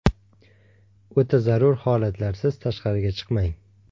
O‘ta zarur holatlarsiz tashqariga chiqmang.